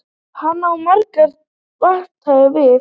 Hann á margt vantalað við